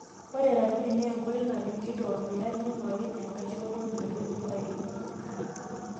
Ore ratuni naa enkoitoi nadung'ieki ormuya neing'uari enkaishoto metubulu aitoki.